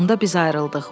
Onda biz ayrıldıq.